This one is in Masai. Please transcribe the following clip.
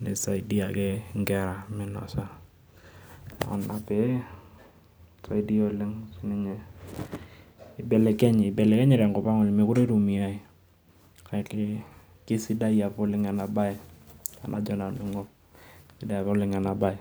nisaidia ake nkera minosa. Kuna pee, kisaidia oleng sininye, ibelekenye, ibelekenye tenkop ang mekure itumiai. Kake, kesidai apa oleng' enabae. Tenajo nanu aing'or, sidai apa oleng' enabae.